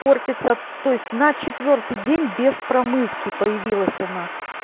портится то есть на четвёртый день без промывки появилась она